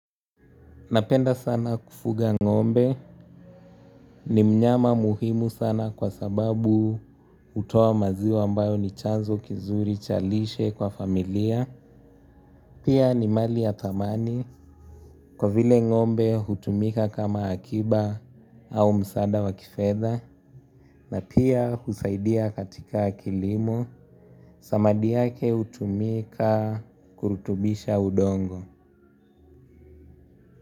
Napenda sana kufuga ng'ombe ni mnyama muhimu sana kwa sababu hutowa maziwa? Ambayo ni chanzo kizuri cha lishe kwa familia. Pia ni mali ya thamani kwa vile ng'ombe hutumika kama akiba au msada wa kifedha. Na pia husaidia katika kilimo. Samadi yake hutumika kurutubisha udongo.